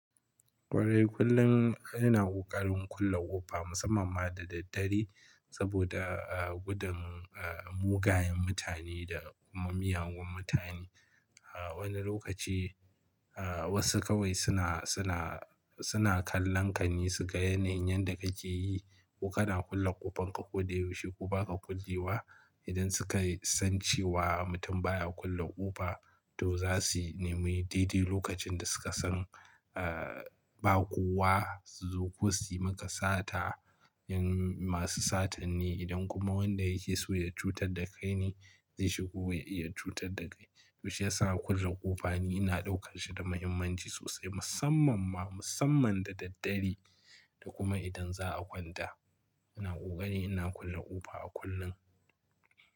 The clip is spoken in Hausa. Kwarai kullun ina ƙoƙarin kulla ƙofa musamman ma da daddare saboda, ah, gudun, ah, mugayen mutane da mu miyagun mutane. Ah, wani lokaci, ah, wasu kawai sina, sina, sina kallon ka ni su ga yanayin yadda kake yi ko kana kulle ƙofanka ko de yaushe ko ba ka kullewa. Idan sukai san cewa mutum baya kulle ƙofa to za si nemi dede lokacin da suka san, ah, ba kowa su zo kosu yi maka sata. In masu satan ne idan kuma wanda yake so ya cutadda kai ne ze shigo ya iya cutadda kai. Shiyasa kulla ƙofa ni ina ɗaukan shi da mahimmanci sosai musamman ma musamman da daddare. Da kuma idan za a kwanta ina ƙoƙari ina kulla ƙofa a kullun.